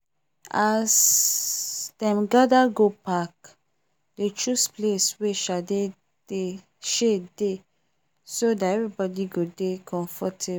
as them gather go park they choose place wey shade dey so that everybody go dey comfortable